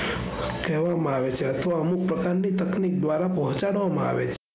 કહેવામાં આવે છે અથવા અમુક પ્રકારની તકનીક દ્વારા પહોંચાડવામાં આવે છે.